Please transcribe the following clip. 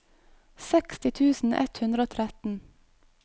seksti tusen ett hundre og tretten